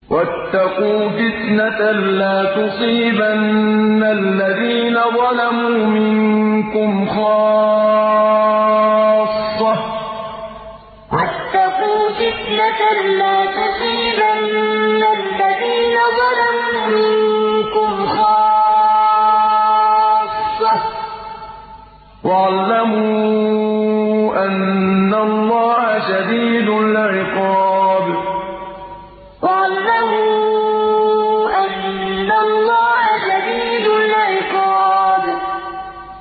وَاتَّقُوا فِتْنَةً لَّا تُصِيبَنَّ الَّذِينَ ظَلَمُوا مِنكُمْ خَاصَّةً ۖ وَاعْلَمُوا أَنَّ اللَّهَ شَدِيدُ الْعِقَابِ وَاتَّقُوا فِتْنَةً لَّا تُصِيبَنَّ الَّذِينَ ظَلَمُوا مِنكُمْ خَاصَّةً ۖ وَاعْلَمُوا أَنَّ اللَّهَ شَدِيدُ الْعِقَابِ